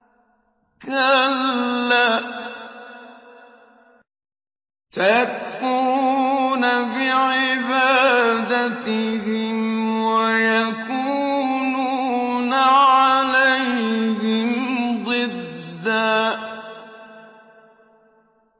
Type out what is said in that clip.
كَلَّا ۚ سَيَكْفُرُونَ بِعِبَادَتِهِمْ وَيَكُونُونَ عَلَيْهِمْ ضِدًّا